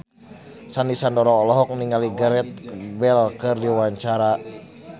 Sandy Sandoro olohok ningali Gareth Bale keur diwawancara